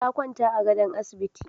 Ta kwanta a gadon asibiti.